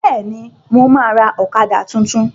Bẹ́ẹ̀ni, mo ma ra ọ̀kadà tuntun